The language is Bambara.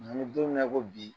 Nk'an bɛ don min na i ko bi